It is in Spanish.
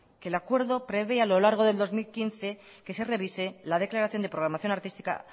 que el acuerdo prevé a lo largo del dos mil quince que se revise la declaración de programación artística